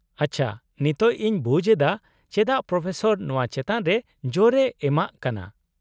ᱟᱪᱪᱷᱟ, ᱱᱤᱛᱚᱜ ᱤᱧ ᱵᱩᱡ ᱮᱫᱟ ᱪᱮᱫᱟᱜ ᱯᱨᱚᱯᱷᱮᱥᱚᱨ ᱱᱚᱶᱟ ᱪᱮᱛᱟᱱ ᱨᱮ ᱡᱳᱨ ᱮ ᱮᱢᱟᱜ ᱠᱟᱱᱟ ᱾